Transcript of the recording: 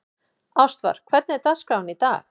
Ástvar, hvernig er dagskráin í dag?